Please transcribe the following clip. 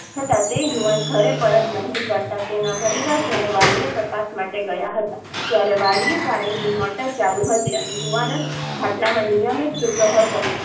યુવાન ઘરે પરત નહીં કરતા તેના પરિવારજ નો વાડીએ તપાસ માટે ગયા હતા ત્યારે વાડીએ પાણી ની મોટર ચાલુ હતી અને યુવાનજ ખાટલામા નિયમીથ સુતો હતો